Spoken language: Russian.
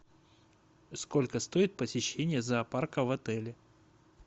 сколько стоит посещение зоопарка в отеле